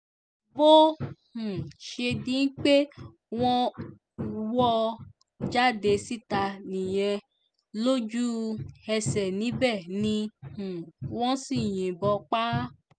bó um ṣe di pé wọ́n wọ́ ọ jáde síta nìyẹn lójú-ẹsẹ̀ níbẹ̀ ni um wọ́n sì yìnbọn pa á